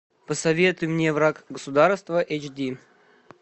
посоветуй мне враг государства эйч ди